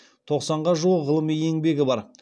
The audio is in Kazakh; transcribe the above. тоқсанға жуық ғылыми еңбегі бар